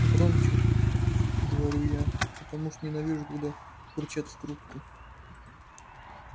громче говорю я потому что ненавижу когда бурчат в трубку